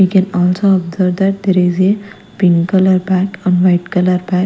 we can also observe that there is a pink colour pant on white colour pa--